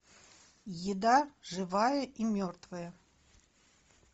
еда живая и мертвая